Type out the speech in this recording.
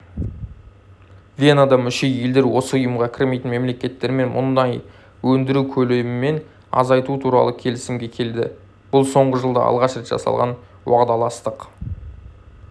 венада мүше елдер осы ұйымға кірмейтін мемлекеттермен мұнай өндіру көлемін азайту туралы келісімге келді бұл соңғы жылда алғаш рет жасалған уағдаластық